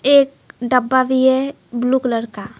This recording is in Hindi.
एक डब्बा भी है ब्लू कलर का।